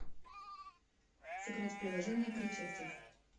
сыграть в приложение кричевцов